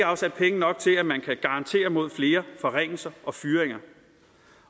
afsat penge nok til at man kan garantere mod flere forringelser og fyringer